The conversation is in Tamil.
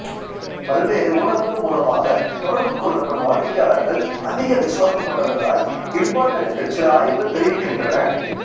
பல்வேறு ஊடகங்கள் மூலமாகத் தொடர்பு கொள்ளப்படும் வாடிக்கையாளர்கள் அதிக விசுவாசம் கொண்டவர்களாய் இருப்பார்கள் என்று சில ஆய்வுகள் தெரிவிக்கின்றன